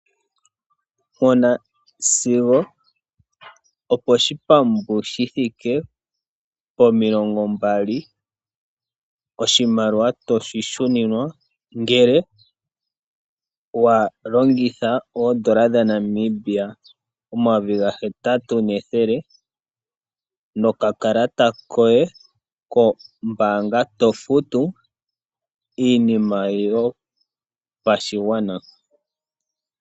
Sigo opo shi pambu shi thiike po20%, oshimaliwa toshi shuninwa, ngele owa longitha N$8,100, noka kalata koye kombanga to futu iinima yopashigwana.